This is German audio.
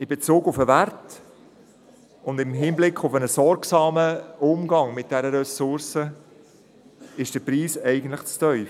In Bezug auf den Wert und im Hinblick auf einen sorgsamen Umgang mit dieser Ressource ist der Preis eigentlich zu tief.